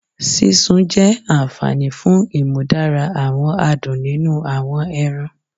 Sisun jẹ anfani fun imudara awọn adun ninu awọn ẹran